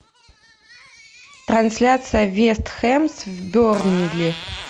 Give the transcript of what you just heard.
трансляция вест хэм с бернли